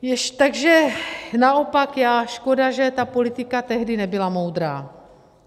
Takže naopak, škoda že ta politika tehdy nebyla moudrá.